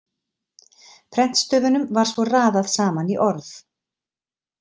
Prentstöfunum var svo raðað saman í orð.